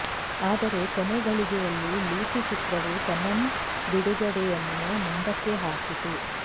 ಆದರೆ ಕೊನೆ ಘಳಿಗೆಯಲ್ಲಿ ಲೂಟಿ ಚಿತ್ರವು ತನನ್ ಬಿಡುಗಡೆಯನ್ನು ಮುಂದಕ್ಕೆ ಹಾಕಿತು